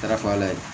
Darafa ala ye